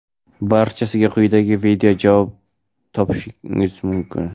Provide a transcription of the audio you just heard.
Barchasiga quyidagi videoda javob topishingiz mumkin!.